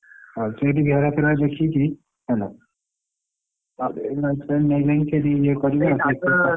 ଓଃ ସେଇଟି ଘେରା ଫେରା ଦେଖିକି ହେଲା ତାପରେ ।